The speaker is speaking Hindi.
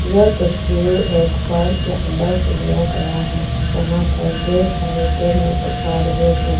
यह तस्वीर एक पार्क के अंदर से लिया गया है यहां पर ढेर सारे पेड़ नजर आ रहे हैं।